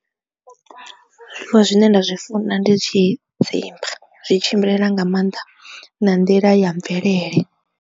Zwiḽiwa zwine nda zwi funa ndi tshidzimba zwi tshimbila nga maanḓa na nḓila ya mvelele.